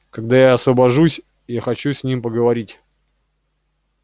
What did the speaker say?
когда я освобожусь я хочу с ним поговорить